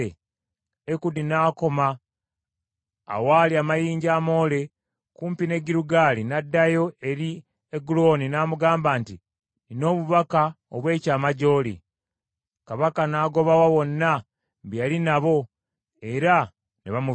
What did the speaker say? Ekudi n’akoma awaali amayinja amoole kumpi ne Girugaali n’addayo eri Egulooni n’amugamba nti, “Nnina obubaka obw’ekyama gy’oli.” Kabaka n’agobawo bonna be yali nabo era ne bamuviira.